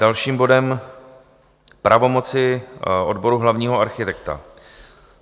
Další bod - pravomoci odboru hlavního architekta.